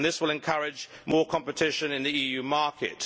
This will encourage more competition in the EU market.